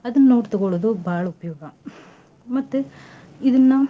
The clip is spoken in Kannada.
ಅದನ್ ನೋಡ್ ತುಗೊಳೋದು ಬಾಳ್ ಉಪ್ಯೋಗ ಮತ್ತೆ ಇದನ್ನ.